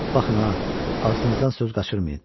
Baxın ha, ağzınızdan söz qaçırmayın.